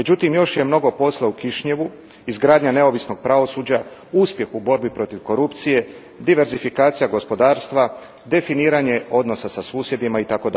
Međutim još je mnogo posla u Kišinjevu, izgradnja neovisnog pravosuđa, uspjeh u borbi protiv korupcije, diversifikacija gospodarstva, definiranje odnosa sa susjedima itd.